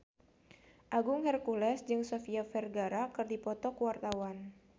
Agung Hercules jeung Sofia Vergara keur dipoto ku wartawan